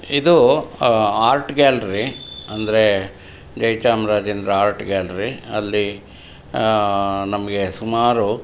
ಇದು ಆಹ್ಹ್ art gallery ಅಂದ್ರೆ ಜೈಚಾಮರಾಜೇಂದ್ರ ಅರ್ಟ್ ಗ್ಯಾಲರಿ ಅಲ್ಲಿ ಆಹ್ ನಮ್ಗೆ ಸುಮಾರು.